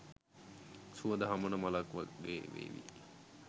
සුවඳ හමන මලක් වගේ වේවි.